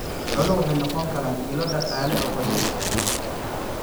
Xooluhu waxay noqon karaan ilo dhaqaale oo qoysaska.